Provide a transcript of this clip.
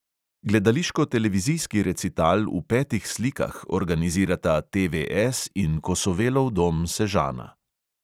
Gledališko-televizijski recital v petih slikah organizirata TVS in kosovelov dom sežana.